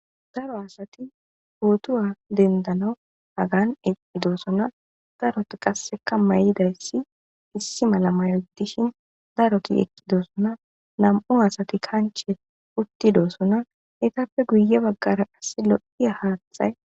Daro asatti pooto dendana hagan eqqidisona. Darotti qasika maydays issi mala mayo gidishin,darotti doosona. Nam'u astti kanche utti doosona.entappe guye baggara qassi lo'ya haaththay...